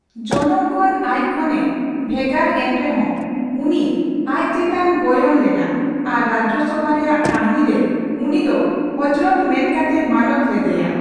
ᱡᱚᱱᱚᱢ ᱠᱷᱚᱱ ᱟᱪ ᱠᱷᱚᱱ ᱮ ᱵᱷᱮᱜᱮᱨ ᱮᱱᱨᱮᱦᱚᱸ, ᱩᱱᱤ ᱟᱪ ᱪᱮᱛᱟᱱ ᱜᱚᱭᱚᱱ ᱞᱮᱱᱟ ᱟᱨ ᱨᱟᱡᱪᱥᱚᱵᱷᱟ ᱨᱮᱭᱟᱜ ᱠᱟᱹᱦᱱᱤ ᱨᱮ ᱩᱱᱤ ᱫᱚ ᱦᱚᱡᱨᱚᱛ ᱢᱮᱱᱠᱟᱛᱮ ᱢᱟᱱᱚᱛ ᱞᱮᱫᱮᱭᱟ ᱾